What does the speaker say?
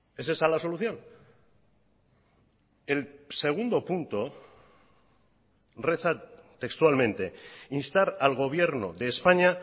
es esa la solución el segundo punto reza textualmente instar al gobierno de españa